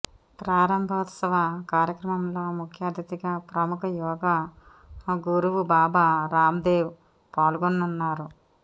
ప్రారంభోత్సవ కార్యక్రమంలో ముఖ్య అతిథిగా ప్రముఖ యోగా గురువు బాబా రామ్దేవ్ పాల్గొననున్నారు